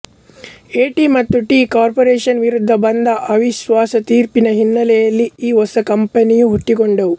eighty ಮತ್ತು T corporation ವಿರುದ್ಧ ಬಂದ ಅವಿಶ್ವಾಸ ತೀರ್ಪಿನ ಹಿನ್ನೆಲೆಯಲ್ಲಿ ಈ ಹೊಸ ಕಂಪನಿಗಳು ಹುಟ್ಟಿಕೊಂಡವು